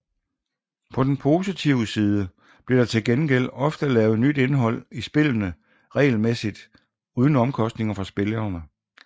På den positive side bliver der til gengæld også ofte lavet nyt indhold i spillene regelmæssigt uden omkostninger for spillerne